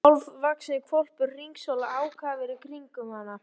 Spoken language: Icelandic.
Valdimar- svaraði hann vonskulega í símann.